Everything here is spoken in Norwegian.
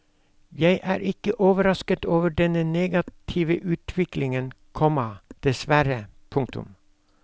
Jeg er ikke overrasket over denne negative utviklingen, komma dessverre. punktum